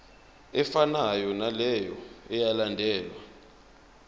efanayo naleyo eyalandelwa